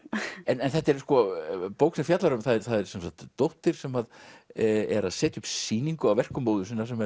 þetta er bók sem fjallar um að það er dóttir sem er að setja upp sýningu á verkum móður sinnar sem